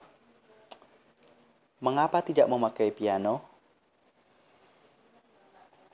Mengapa tidak memakai piano